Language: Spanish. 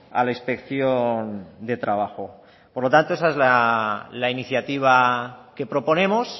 a la inspección de trabajo por lo tanto esa es la iniciativa que proponemos